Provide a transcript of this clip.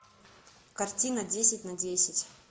картина десять на десять